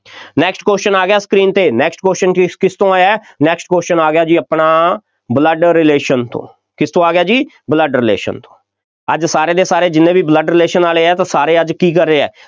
next question ਆ ਗਿਆ screen 'ਤੇ, next question ਕਿਸ ਕਿਸ ਤੋਂ ਹੈ, next question ਆ ਗਿਆ ਜੀ ਆਪਣਾ blood relation ਤੋਂ, ਕਿਸ ਤੋਂ ਆ ਗਿਆ ਜੀ blood relation ਤੋਂ, ਅੱਜ ਸਾਰੇ ਦੇ ਸਾਰੇ ਜਿੰਨੇ ਵੀ blood relation ਵਾਲੇ ਆ ਤਾਂ ਸਾਰੇ ਅੱਜ ਕੀ ਕਰ ਰਹੇ ਆ,